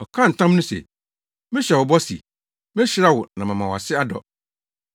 Ɔkaa ntam no se, “Mehyɛ wo bɔ sɛ, mehyira wo na mama wʼase adɔ.”